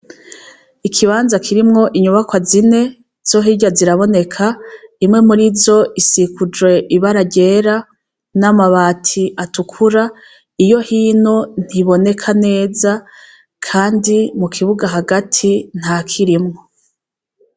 Ikibanza kirimwo inyubakwa zine, izo hirya ziraboneka, imwe muri zo isikujwe ibara ryera, n'amabati atukura, iyo hino ntiboneka neza, kandi mu kibuga hagati ntakirimwo.